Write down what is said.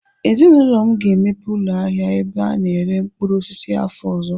Ezinaụlọ m ga-emepe ụlọ ahịa ebe a na-ere mkpụrụ osisi afọ ọzọ.